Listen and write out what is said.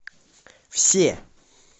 все